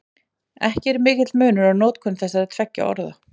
Ekki er mikill munur á notkun þessara tveggja orða.